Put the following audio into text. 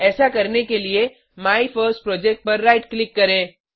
ऐसा करने के लिए माइफर्स्टप्रोजेक्ट पर राइट क्लिक करें